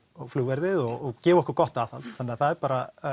flugverðið og gefa okkur gott aðhald þannig að það er bara